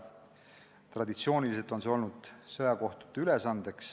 Traditsiooniliselt on see olnud sõjakohtute ülesanne.